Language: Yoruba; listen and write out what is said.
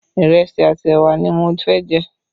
Ìrẹsì àti ẹwà ni mo fẹ́ jẹ